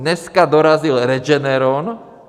Dneska dorazil Regeneron.